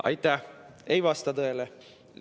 Aitäh!